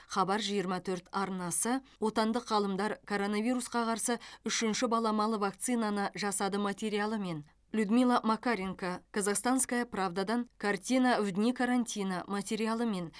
хабар жиырма төрт арнасы отандық ғалымдар коронавирусқа қарсы үшінші баламалы вакцинаны жасады материалымен людмила макаренко казахстанская правда дан картина в дни карантина материалымен